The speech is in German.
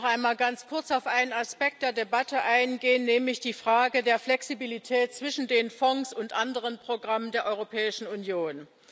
Ich möchte noch einmal ganz kurz auf einen Aspekt der Debatte eingehen, nämlich die Frage der Flexibilität zwischen den Fonds und anderen Programmen der Europäischen Union.